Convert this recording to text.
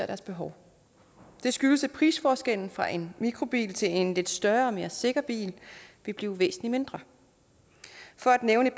deres behov det skyldes at prisforskellen fra en mikrobil til en lidt større og mere sikker bil vil blive væsentlig mindre for at nævne